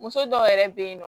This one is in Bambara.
Muso dɔw yɛrɛ bɛ yen nɔ